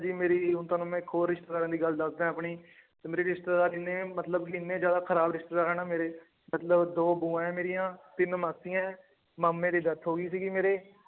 ਮੇਰੀ ਹੁਣ ਤੁਹਾਨੂੰ ਮੈ ਇਕ ਹੋਰ ਰਿਸ਼ਤੇਦਾਰਾਂ ਦੀ ਗੱਲ ਦੱਸਦਾ ਏਂ ਆਪਣੀ ਮੇਰੇ ਰਿਸ਼ਜਤੇਦਾਰ ਏਨੇ ਮਤਲਬ ਇਹਨੇ ਜ਼ਿਆਦਾ ਖਰਾਬ ਰਿਸ਼ਤੇਦਾਰ ਆ ਨਾ ਮੇਰੇ ਮਤਲਬ ਦੋ ਬੁਆ ਏ ਮੇਰੀਆਂ ਤਿੰਨ ਮਾਸੀਆਂ ਏਂ ਮਾਮੇ ਦੀ death ਹੋਗੀ ਸੀਗੀ ਮੇਰੇ